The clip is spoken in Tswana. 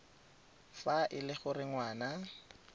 fa e le gore ngwana